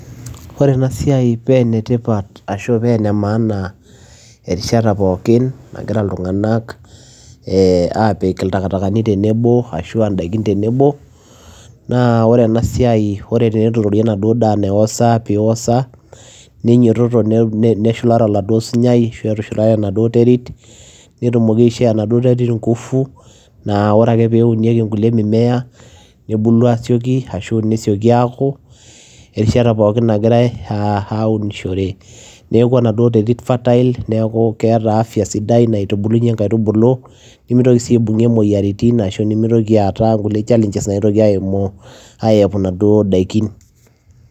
Ore ena siai pee ene tipat ashu pee ene maana erishata pookin nagira iltung'anak ee aapik iltakitakani tenebo ashu aa ndaikin tenebo, naa ore ena siai ore teneturori enaduo daa niaosa piosa ninyototo neshula oladuo sunyai ashu etushulare enaduo terit, netumoki aishoo enaduo terit nguvu, naa ore ake peunieki inkulie mimea nebulu aasioki ashu nesioki aaku erishata pookin nagirai aa aunishore. Neeku enaduo terit fertile, neeku keeta afya naitubulunye inkaitubulu nemitoki sii aibung'ie imoyiaritin ashu nemitoki aata inkulie challenges naitoki aimu aiyepu inaduo daikin.